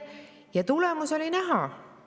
Ja tulemus oli näha.